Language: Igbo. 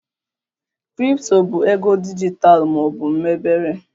Kripto bụ ego dijitalụ ma ọ bụ mebere